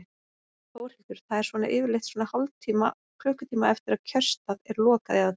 Þórhildur: Það er svona yfirleitt svona hálftíma, klukkutíma eftir að kjörstað er lokað eða hvað?